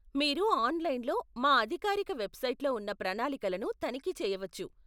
మీరు ఆన్లైన్లో మా అధికారిక వెబ్సైట్లో ఉన్న ప్రణాళికలను తనిఖీ చేయవచ్చు.